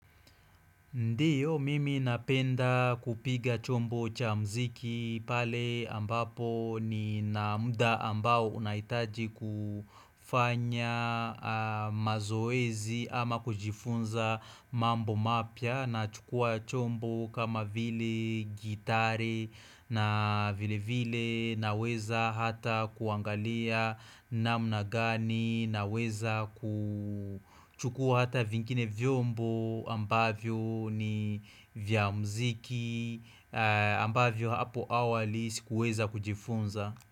Ndiyo mimi napenda kupiga chombo cha mziki pale ambapo ni na muda ambao unaitaji kufanya mazoezi ama kujifunza mambo mapia na chukua chombo kama vile gitari na vile vile na weza hata kuangalia. Namna gani naweza kuchukua hata vingine vyombo ambavyo ni vya mziki. Ambavyo hapo awali sikuweza kujifunza.